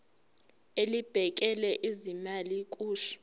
elibhekele ezezimali kusho